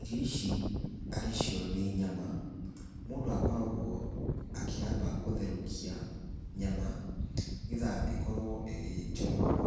Irio ici arĩ cio nĩ nyama, mũndũ akoragwo akĩamba gũtherũkia nyama, nĩgetha ĩkorwo ĩ njororo